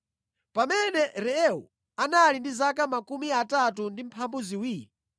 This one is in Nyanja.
Pamene Reu anali ndi zaka 32, anabereka Serugi.